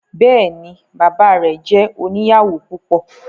Bẹẹni, baba rẹ jẹ oniyawo púpọ